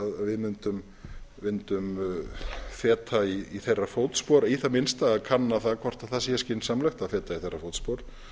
við mundum feta í þeirra fótspor í það minnsta að kanna það hvort það sé skynsamlegt að feta í þeirra fótspor